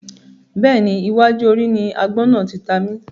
Bẹ́ẹ̀ni, iwájú orí ni àgbọ̀n náà tí ta mi